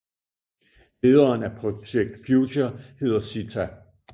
Lederen af Projekt Future hedder Sitha